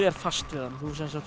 er fast við hann þú